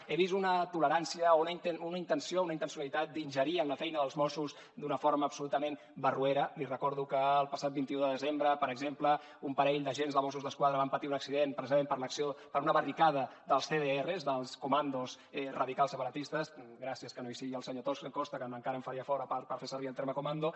he vist una tolerància o una intenció una intencionalitat d’ingerir en la feina dels mossos d’una forma absolutament barroera li recordo que el passat vint un de desembre per exemple un parell d’agents de mossos d’esquadra van patir un accident precisament per l’acció per una barricada dels cdr dels comandos radicals separatistes gràcies que no hi és el senyor costa que encara em faria fora per fer servir el terme comando